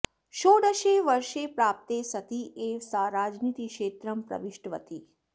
षोडशे वर्षे प्राप्ते सति एव सा राजनीतिक्षेत्रं प्रविष्टवती